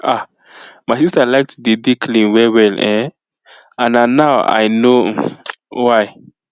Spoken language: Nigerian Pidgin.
ah my sister like to dey dey clean well well[um]and na now i know um why